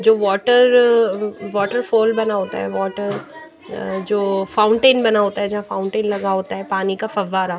जो water uh waterfall बना होता है वाटर जो फाउंटेन बना होता है जहाँ फाउंटेन लगा होता है पानी का फव्वारा --